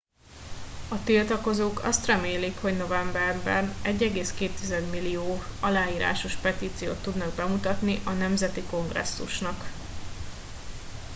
a tiltakozók azt remélik hogy novemberben 1,2 millió aláírásos petíciót tudnak bemutatni a nemzeti kongresszusnak